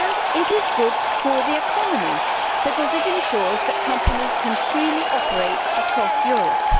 It is also good for the economy, because it ensures that companies can freely operate across Europe.